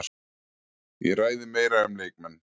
Ég ræði meira um leikmenn.